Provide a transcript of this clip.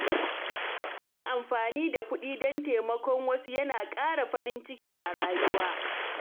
Yin amfani da kuɗi don taimakon wasu yana ƙara farin ciki a rayuwa.